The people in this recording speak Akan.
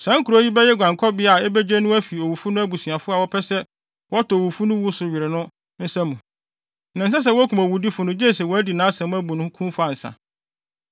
Saa nkurow yi bɛyɛ guankɔbea a ebegye no afi owufo no abusuafo a wɔpɛ sɛ wɔtɔ owufo no wu so were no nsa mu; na ɛnsɛ sɛ wokum owudifo no gye sɛ wɔadi nʼasɛm abu no kumfɔ ansa.